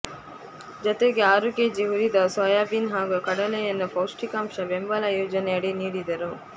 ಜತೆಗೆ ಆರು ಕೆಜಿ ಹುರಿದ ಸೋಯಾಬೀನ್ ಹಾಗೂ ಕಡಲೆಯನ್ನು ಪೌಷ್ಟಿಕಾಂಶ ಬೆಂಬಲ ಯೋಜನೆಯಡಿ ನೀಡಿದರು